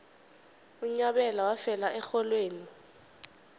unyabela wafela erholweni